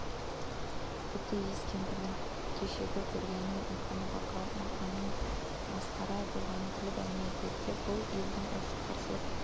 тіпті иіс кемпірдің кешегі көргенін айтқаны бақырауық мақаның масқара болғанын күліп әңгіме еткені де бұл елдің осы қарсылық